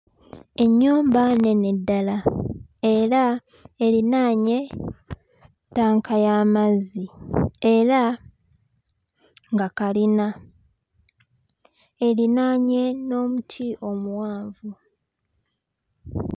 Ennyumba nnene ddala era erinaanye ttaka y'amazzi era nga kalina erinaanye n'omuti omuwanvu.